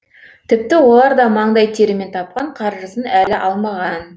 тіпті олар да маңдай терімен тапқан қаржысын әлі алмаған